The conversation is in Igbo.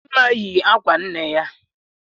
Chidinma yi akwa nne ya.